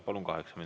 Palun!